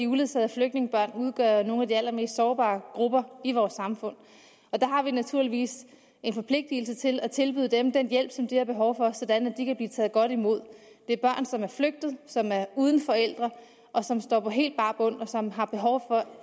uledsagede flygtningebørn udgør nogle af de allermest sårbare grupper i vores samfund og der har vi naturligvis en forpligtelse til at tilbyde dem den hjælp som de har behov for sådan at de kan blive taget godt imod det er børn som er flygtet som er uden forældre og som står på helt bar bund og som har behov for